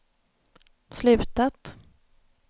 slutat